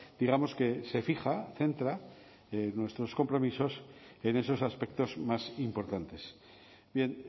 digamos que se fija centra nuestros compromisos en esos aspectos más importantes bien